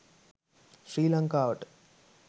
ශ්‍රී ලංකාවට